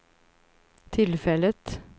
tillfället